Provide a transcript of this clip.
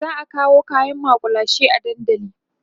za'a kawo kaƴan makullashe dandali